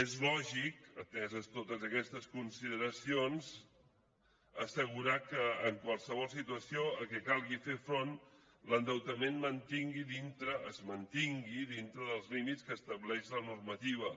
és lògic ateses totes aquestes consideracions assegurar que en qualsevol situació a què calgui fer front l’endeutament es mantingui dintre dels límits que estableix la normativa